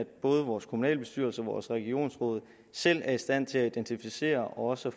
at både vores kommunalbestyrelser og vores regionsråd selv er i stand til at identificere og også